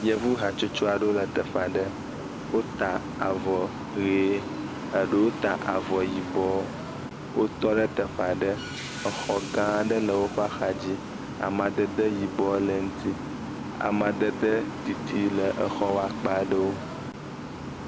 Yevu hatsotso aɖewo le teƒe aɖe. Wota aɔ ʋi eɖewo ta avɔ yibɔ. Wotɔ ɖe teƒe aɖe. Exɔ gã aɖe le woƒe axa dzi amadede yibɔ le eŋutsi. Amadede ɖiɖi le exɔ ƒe akpa aɖewo.